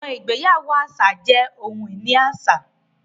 Àwọn igbeyawo àṣà jẹ́ oḥun-ini àṣà